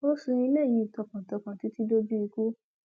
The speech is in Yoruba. ó sin ilé yìí tọkàntọkàn títí dójú ikú